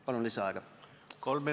Palun lisaaega!